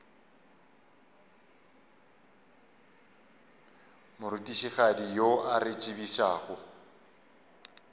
morutišigadi yo a re tsebišago